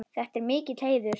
Þetta er mikill heiður.